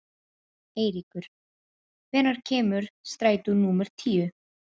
Eiríkur, hvenær kemur strætó númer tíu?